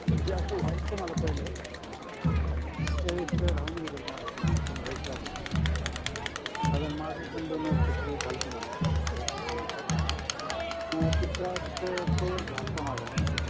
कधी असं व्हायचं मला पहिलं त्यावेळेस राहून गेलेलं माझं लहानपणी मागे पण दोन वर्षांपूर्वी झालतं मला हा त्रास कानाचा तो त्रास cover झालता माझा नाय का